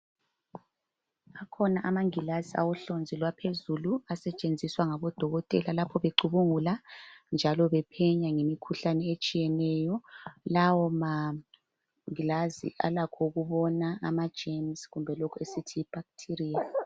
Akhona amangilazi awohlonzi lwaphezuku asetshenziswa ngabodokotela lapho becubungula njalo bephenya ngemikhuhlane etshiyeneyo. Lawo mangilazi alakho ukubona ama germs kumbe lokhu esithi yi bacteria.